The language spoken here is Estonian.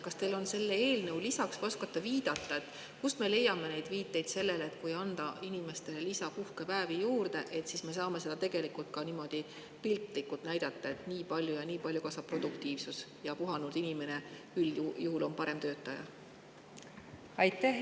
Kas teil on need selle eelnõu lisad või kas oskate viidata, kust me leiaksime viiteid selle kohta, et kui anda inimestele lisapuhkepäevi, siis kas me saaksime tegelikult ka niimoodi piltlikult näidata, et nii ja nii palju kasvab nende produktiivsus ning et puhanud inimene on üldjuhul parem töötaja?